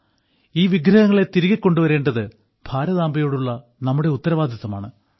ഈ വിഗ്രഹങ്ങളെ തിരികെ കൊണ്ടുവരേണ്ടത് ഭാരതാംബയോടുള്ള നമ്മുടെ ഉത്തരവാദിത്തമാണ്